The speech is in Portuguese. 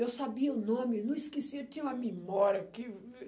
Eu sabia o nome, não esquecia, tinha uma memória que...